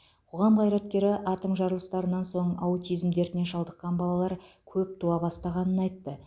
қоғам қайраткері атом жарылыстарынан соң аутизм дертіне шалдыққан балалар көп туа бастағанын айтты